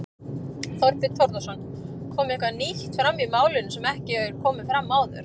Þorbjörn Þórðarson: Kom eitthvað nýtt fram í málinu sem ekki hefur komið fram áður?